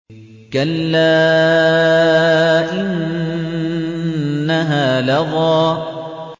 كَلَّا ۖ إِنَّهَا لَظَىٰ